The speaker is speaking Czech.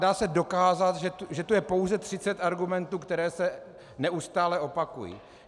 Dá se dokázat, že to je pouze 30 argumentů, které se neustále opakují.